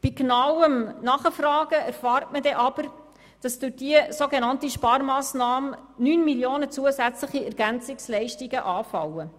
Bei genauerem Nachfragen erfährt man dann aber, dass durch diese sogenannte Sparmassnahme zusätzlich 9 Mio. Franken an Ergänzungsleistungen anfallen.